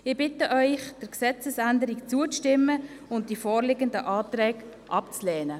Ich bitte Sie, der Gesetzesänderung zuzustimmen und die vorliegenden Anträge abzulehnen.